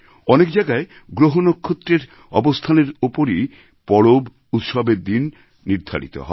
অনেক জায়গায় গ্রহনক্ষত্রের অবস্থানের ওপরই পরব উৎসবের দিন নির্ধারিত হয়